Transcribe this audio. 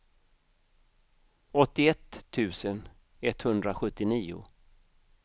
åttioett tusen etthundrasjuttionio